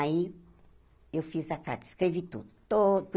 Aí, eu fiz a carta, escrevi tudo.